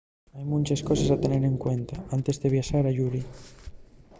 hai munches coses a tener en cuenta antes de viaxar ayuri